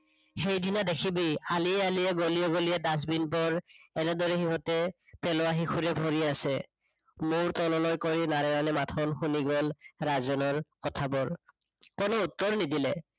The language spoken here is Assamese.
সেইদিনা দেখিবি, আলিয়ে আলিয়ে গলিয়ে গলিয়ে dustbin বোৰ এনেদৰে সিহঁতে পেলোৱা শিশুৰে ভৰি আছে। মুৰ তললৈ কৈ নাৰায়ণে মাথো শুনিগল ৰাজেনৰ কথাবোৰ। কোনো উত্তৰ নিদিলে,